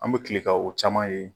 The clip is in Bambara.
An bɛ kile ka o caman ye.